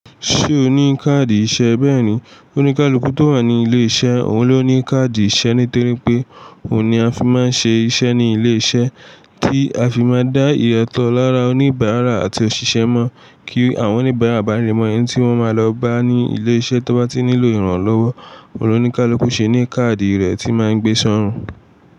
Ṣé o ní káàdì ìṣe? Bẹ́ẹ̀ni, oníkálukú tó wà ní ilé iṣẹ́, òun ló ní káàdì ìṣe nítorí pé òun ni a fi máa ń ṣe iṣẹ́ ní ilé iṣẹ́ tí a fi máa ń dá ìrètí lára oníbàárà àti òṣìṣẹ́ mọ̀ kí àwọn oníbàárà bá rí mọ̀ ẹni tí wọ́n máa lọ bá ní ilé iṣẹ́ tí wọ́n bá ti nílò ìrànlọ́wọ́. Oun lo níkálukú ṣe ní káàdì rẹ̀ tí máa ń gbé sọ́rùn.